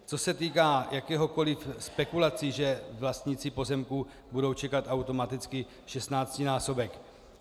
Co se týká jakékoli spekulace, že vlastníci pozemků budou čekat automaticky 16násobek.